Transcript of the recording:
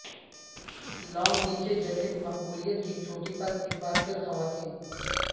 long نیچے jacket مقبولیت کی چوٹی پر ایک بار پھر خواتین